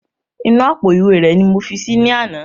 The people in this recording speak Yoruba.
Inú àpò ìwé rẹ ni mo fi si ní àná